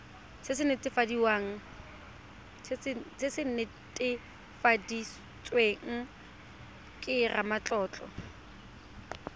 se se netefaditsweng ke ramatlotlo